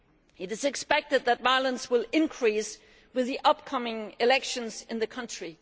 It is expected that violence will increase with the upcoming elections in the country.